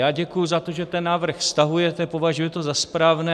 Já děkuji za to, že ten návrh stahujete, považuji to za správné.